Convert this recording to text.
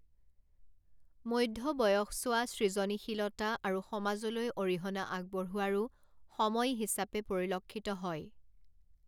মধ্য বয়সছোৱা সৃজনীশীলতা আৰু সমাজলৈ অৰিহণা আগবঢ়োৱাৰো সময় হিচাপে পৰিলক্ষিত হয়।